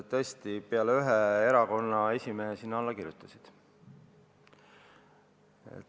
Tõesti, kõik peale ühe erakonna esimehe sinna alla kirjutasid.